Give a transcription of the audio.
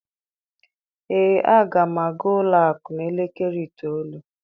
Ee, aga m aga ụlọ akụ n'elekere itoolu